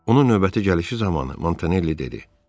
Onun növbəti gəlişi zamanı Montanelli dedi: